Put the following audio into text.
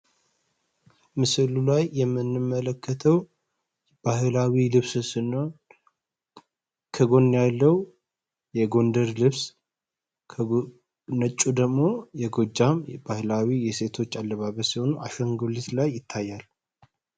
ምስዕሉ ላይ የምንመለከተው ባህላዊ ልብስስኖን ከጎን ያለው የጎንደር ልብስ ከነጩ ደግሞ የጎጃም ባህላዊ የሴቶች አለባበ ስሆኑ አሸንጎሊት ላይ ይታያል፡፡